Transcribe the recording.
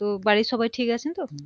তো বাড়ির সবাই ঠিক আছেন তো